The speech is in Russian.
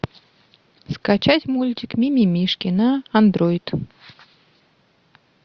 скачать мультик мимимишки на андройд